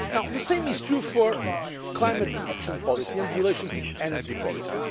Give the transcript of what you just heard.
The same is true for climate action policy in relation to energy